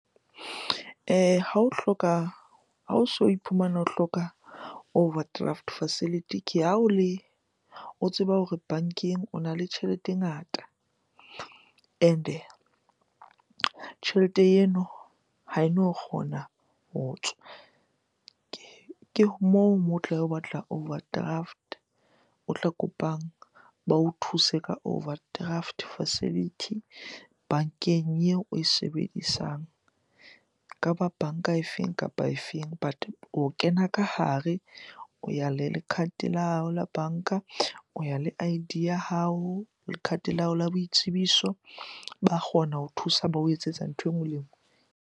Ha o hloka, ha o so o iphumana o hloka overdraft facility. Ke ha o le, o tseba hore bankeng ona le tjhelete e ngata and-e tjhelete eno ha eno kgona ho tswa. Ke moo, moo o tla batla overdraft. O tla kopang ba o thuse ka overdraft facility bankeng eo oe sebedisang. Eka ba banka e feng kapa e feng but o kena ka hare, o ya le le card la hao la banka, o ya le I_D ya hao le card la hao la boitsebiso. Ba kgona ho thusa ba o etsetsa ntho e nngwe le e nngwe.